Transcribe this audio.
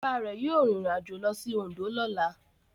Bàbá rẹ̀ yóò rìnrìnàjò lọ sí Oǹdó lọ́la.